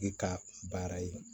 E ka baara ye